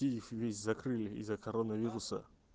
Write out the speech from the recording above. и их не закрыли из-за коронавируса